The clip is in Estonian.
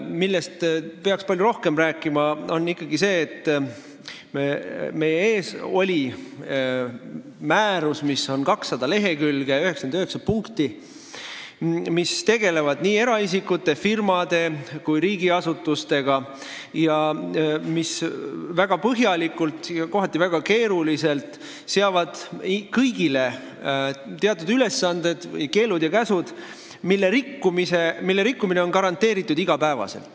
Millest peaks palju rohkem rääkima, on ikkagi see, et meie ees oli 200-leheküljeline määrus, kus on 99 punkti, mis tegelevad nii eraisikute, firmade kui ka riigiasutustega ning mis väga põhjalikult ja kohati väga keeruliselt seavad kõigile teatud keelde ja käske, mille igapäevane rikkumine on garanteeritud.